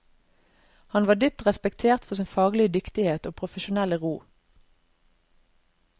Han var dypt respektert for sin faglige dyktighet og profesjonelle ro.